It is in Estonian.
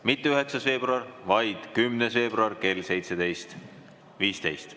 – mitte 9. veebruari, vaid 10. veebruari kell 17.15.